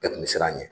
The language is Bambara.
Bɛɛ kun bɛ siran a ɲɛ